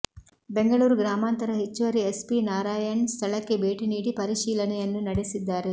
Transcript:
ಬೆಂಗಳೂರು ಗ್ರಾಮಾಂತರ ಹೆಚ್ಚುವರಿ ಎಸ್ಪಿ ನಾರಾಯಣ್ ಸ್ಥಳಕ್ಕೆ ಭೇಟಿ ನೀಡಿ ಪರಿಶೀಲನೆಯನ್ನು ನಡೆಸಿದ್ದಾರೆ